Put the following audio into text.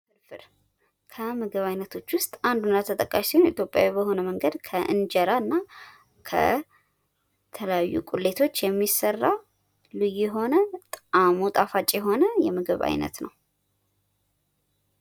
ፍርፍር ከምግብ ዓይነቶች ውስጥ አንዱና ተጠቃሽው ሲሆን ኢትዮጵያዊ በሆነ መንገድ ከእንጀራ እና ከተለያዩ ቁሌቶች ሚሰራ ልዩ የሆነ ጣፋጭ የሆነ የምግብ ዓይነት ነው።